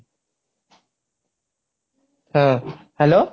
ହଁ hello